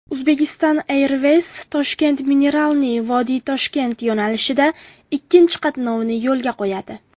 Uzbekistan Airways ToshkentMineralniye VodiToshkent yo‘nalishida ikkinchi qatnovini yo‘lga qo‘yadi.